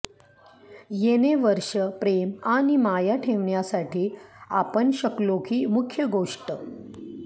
येणे वर्षे प्रेम आणि माया ठेवण्यासाठी आपण शकलो की मुख्य गोष्ट